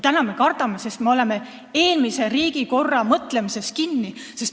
Täna me kardame, sest me oleme eelmise riigikorra mõtlemises kinni.